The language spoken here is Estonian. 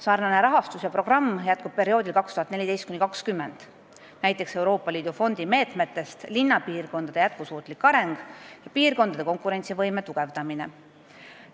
Sarnane rahastus ja programm jätkub perioodil 2014–2020, näiteks Euroopa Liidu fondi meetmetest "Linnapiirkondade jätkusuutlik areng" ja "Piirkondade konkurentsivõime tugevdamine".